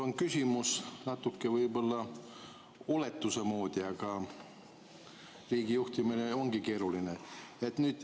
Mul küsimus on võib-olla natuke oletuse moodi, aga riigijuhtimine ongi keeruline.